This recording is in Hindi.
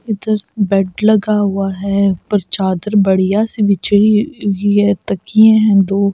इधर बेड लगा हुआ है ऊपर चादर बढ़िया सी बिछी हुई है तकिए हैं दो--